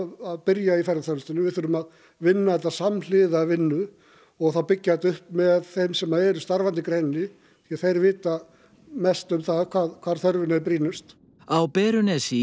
að byrja í ferðaþjónustu við þurfum að vinna þetta samhliða vinnu og byggja þetta upp með þeim sem eru starfandi í greininni því þeir vita mest um það hvar þörfin er brýnust á Berunesi í